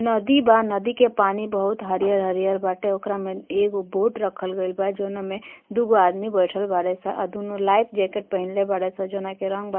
नदी बा। नदी के पानी बहुत हरियर हरियर बाटे। ओकरा में एगो बोट रखल गइल बा जोना में दूगो आदमी बइठल बाड़े स आ दूनो लाइफ जैकेट पहिनले बाड़े स जोना के रंग बा --